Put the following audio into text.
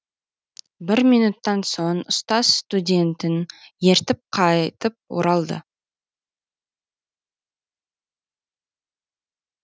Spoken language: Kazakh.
бір минуттан соң ұстаз студентін ертіп қайтып оралды